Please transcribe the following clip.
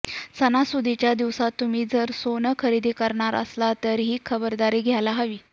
सणासुदीच्या दिवसात तुम्ही जर सोनं खरेदी करणार असाल तर ही खबरदारी घ्यायला हवी